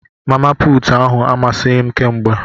Mama puutụ ahu amasịghi m kémgbè.